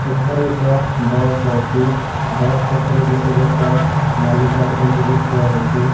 ଏଠାରେ ଏକ ବସ୍ ଅଛି ବସ୍ ପାଖରେ ଗୋଟେ ଲୋକ ନାଲି ସାର୍ଟ୍ ପିନ୍ଧିକି ଠିଆ ହେଇଚି।